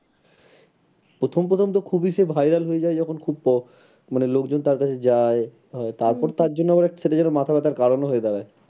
প্রথম প্রথম তো খুবই সে viral হয়ে যায় মানে খুব মানে লোকজন তার কাছে যায় তার পর তার জন্য সেটা যেন মাথাব্যথার কারণ হয়ে দাঁড়ায়